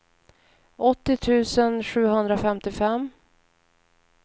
åttio tusen sjuhundrafemtiofem